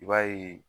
I b'a ye